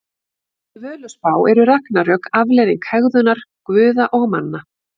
Í Völuspá eru ragnarök afleiðing hegðunar guða og manna.